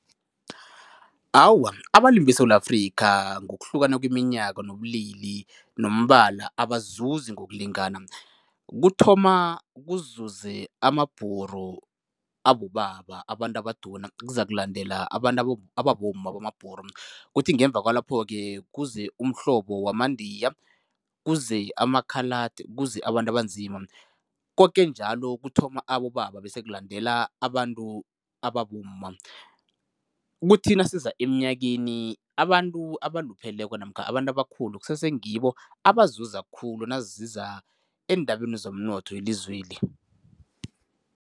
Awa, abalimi beSewula Afrika ngokuhlukana kweminyaka nobulili nombala abazuzi ngokulingana. Kuthoma kuzuze amaBhuru abobaba, abantu abaduna, kuzakulandela abantu abomma bamaBhuru, kuthi ngeuva kwalapho-ke kuze umhlobo wamaNdiya, kuze ama-Coloured, kuze abantu abanzima. Koke njalo kuthoma abobaba bese kulandela abantu ababomma, kuthi nasiza eminyakeni, abantu abalupheleko namkha abantu abakhulu kusese ngibo abazuza khulu naziza eendabeni zomnotho welizweli.